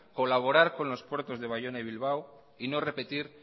colaborar con los puertos de baiona y bilbao y no repetir